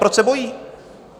Proč se bojí?